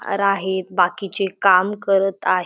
राहेत बाकीचे काम करत आहे.